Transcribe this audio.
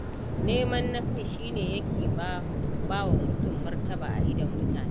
Neman na kai shi ne yake ba wa mutum martaba a idon mutane.